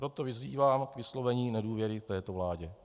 Proto vyzývám k vyslovení nedůvěry této vládě.